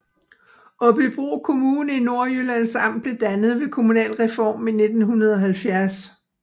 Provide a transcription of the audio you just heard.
Aabybro Kommune i Nordjyllands Amt blev dannet ved kommunalreformen i 1970